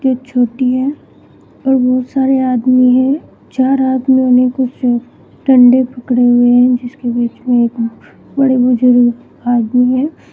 एक छोटी है और बहोत सारे आदमी हैं चार आदमियों ने कुछ डंडे पकड़े हुए हैं जिसके बीच में एक बड़े बुजुर्ग आदमी हैं।